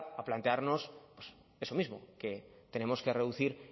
a plantearnos eso mismo que tenemos que reducir